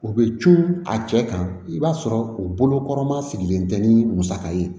U bɛ cun a cɛ kan i b'a sɔrɔ u bolokɔrɔma sigilen tɛ ni musaka ye